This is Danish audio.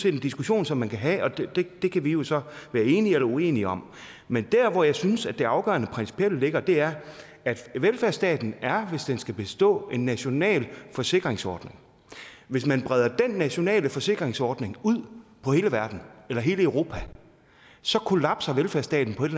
en diskussion som man kan have og det kan vi jo så være enige eller uenige om men der hvor jeg synes det afgørende principielle ligger er at velfærdsstaten er hvis den skal bestå en national forsikringsordning hvis man breder den nationale forsikringsordning ud på hele verden eller hele europa så kollapser velfærdsstaten på et